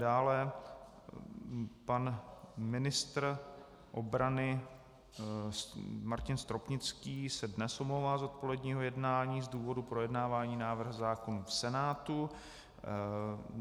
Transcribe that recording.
Dále pan ministr obrany Martin Stropnický se dnes omlouvá z odpoledního jednání z důvodu projednávání návrhu zákonů v Senátu.